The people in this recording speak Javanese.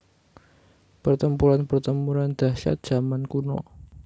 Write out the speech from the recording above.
Pertempuran Pertempuran Dahsyat Zaman Kuno